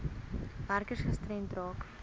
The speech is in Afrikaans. werkers gestremd raak